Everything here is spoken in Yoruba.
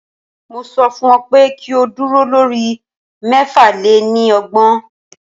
Mo sọ fún ọ pé kí o dúró lórí mẹ́fà lé ní ọgbọ̀n.